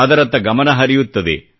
ಅದರತ್ತ ಗಮನಹರಿಯುತ್ತದೆ